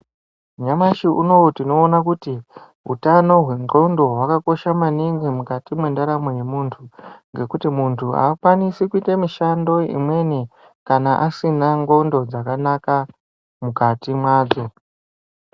Nyamashi unoowu tinoona kuti utano hwendxondo hwakakosha maningi mukati mwendaramo yemuntu ngekuti muntu akwanisi kuita mishando imweni kana asina ndxondo dzakanaka mukati mwake.